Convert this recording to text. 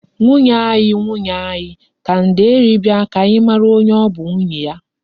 "Nwunye anyi, nwunye anyi" ka nde eri bia ka anyi mara onye o bu nwunye ya.